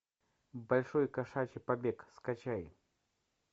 большой кошачий побег скачай